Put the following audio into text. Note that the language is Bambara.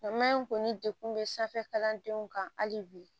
ni degun bɛ sanfɛ kalandenw kan hali bi